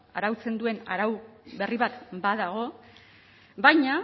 arautzen duen arau berri bat badago baina